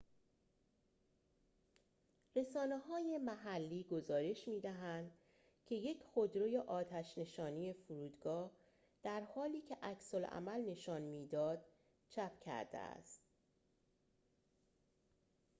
رسانه‌های محلی گزارش می‌دهند که یک خودروی آتش نشانی فرودگاه در حالی که عکس‌العمل نشان می‌داد چپ کرده است